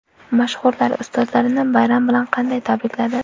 Mashhurlar ustozlarini bayram bilan qanday tabrikladi?